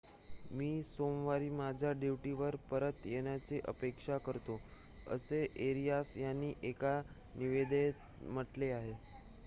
मी सोमवारी माझ्या ड्यूटीवर परत येण्याची अपेक्षा करतो असे एरियस यांनी एका निवेदनात म्हटले आहे